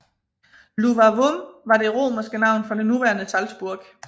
Iuvavum var det romerske navn for det nuværende Salzburg